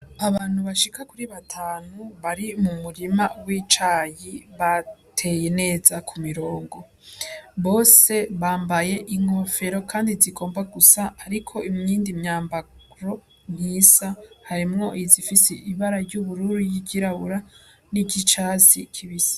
Abantu bashika kuri batanu bari mu murima w'icayi bateye neza ku mirongo, bose bambaye inkofero kandi zigomba gusa ariko iyindi myambaro ntisa, harimwo izifise ibara ry'ubururu, y'iryirabura, n'iryicatsi kibisi.